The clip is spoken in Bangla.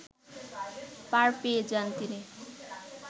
পার পেয়ে যান তিনি